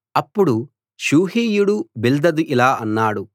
అప్పుడు షూహీయుడు బిల్దదు ఇలా అన్నాడు